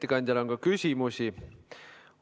Ettekandjale on ka küsimusi.